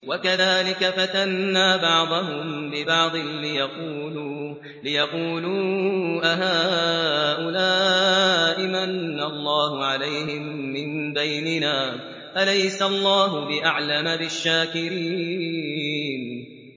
وَكَذَٰلِكَ فَتَنَّا بَعْضَهُم بِبَعْضٍ لِّيَقُولُوا أَهَٰؤُلَاءِ مَنَّ اللَّهُ عَلَيْهِم مِّن بَيْنِنَا ۗ أَلَيْسَ اللَّهُ بِأَعْلَمَ بِالشَّاكِرِينَ